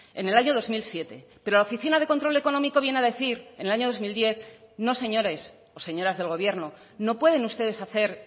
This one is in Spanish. en el año dos mil siete pero la oficina de control económico viene a decir en el año dos mil diez no señores o señoras del gobierno no pueden ustedes hacer